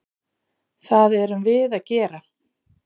Það erum við að gera.